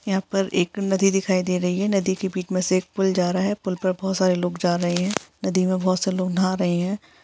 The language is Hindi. यहाँ पर एक नदी दिखाई दे रही है नदी के बिच में से एक पूल जा रहा है पूल पर बहुत सारे लोग जा रहे है नदी में बहुत सारे लोग नहा रहे हैं।